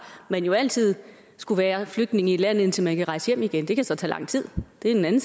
man jo altid skullet være flygtning i et land indtil man kunne rejse hjem igen det kan så tage lang tid det er en anden